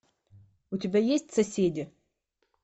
у тебя есть соседи